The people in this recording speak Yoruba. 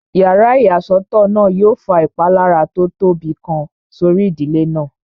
Yàrá ìyàsọ́tọ̀ náà yóò fa ìpalára tó tóbi kan sórí ìdílé náà